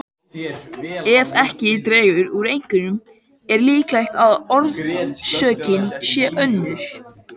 Ef ekki dregur úr einkennum er líklegt að orsökin sé önnur.